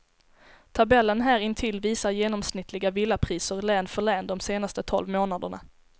Tabellen här intill visar genomsnittliga villapriser län för län de senaste tolv månaderna.